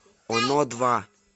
оно два